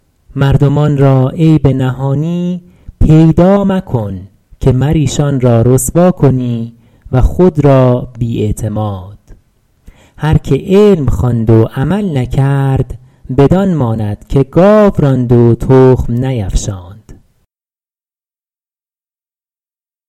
مردمان را عیب نهانی پیدا مکن که مر ایشان را رسوا کنی و خود را بی اعتماد هر که علم خواند و عمل نکرد بدان ماند که گاو راند و تخم نیفشاند